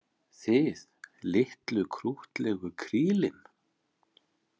Þið, litlu krúttlegu krílin?